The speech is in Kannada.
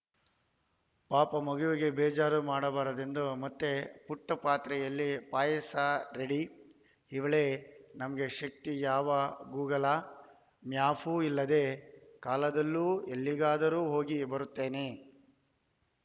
ಪಾಪ ಮಗುವಿಗೆ ಬೇಜಾರು ಮಾಡಬಾರದೆಂದು ಮತ್ತೆ ಪುಟ್ಟಪಾತ್ರೆಯಲ್ಲಿ ಪಾಯಸ ರೆಡಿ ಇವಳೇ ನಮ್ಮ ಶಕ್ತಿ ಯಾವ ಗೂಗಲ ಮ್ಯಾಪೂ ಇಲ್ಲದ ಕಾಲದಲ್ಲೂ ಎಲ್ಲಿಗಾದರೂ ಹೋಗಿ ಬರುತ್ತೇನೆ